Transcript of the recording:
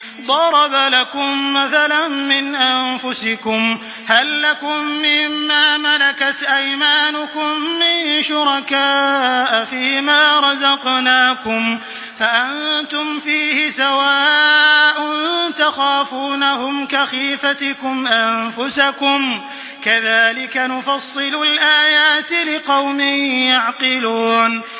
ضَرَبَ لَكُم مَّثَلًا مِّنْ أَنفُسِكُمْ ۖ هَل لَّكُم مِّن مَّا مَلَكَتْ أَيْمَانُكُم مِّن شُرَكَاءَ فِي مَا رَزَقْنَاكُمْ فَأَنتُمْ فِيهِ سَوَاءٌ تَخَافُونَهُمْ كَخِيفَتِكُمْ أَنفُسَكُمْ ۚ كَذَٰلِكَ نُفَصِّلُ الْآيَاتِ لِقَوْمٍ يَعْقِلُونَ